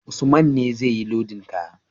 Usman ne zai yi lodin kaya